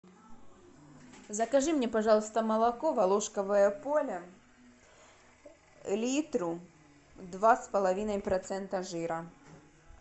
закажи мне пожалуйста молоко волошковое поле литру два с половиной процента жира